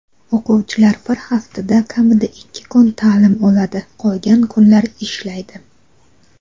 O‘quvchilar bir haftada kamida ikki kun taʼlim oladi qolgan kunlar ishlaydi.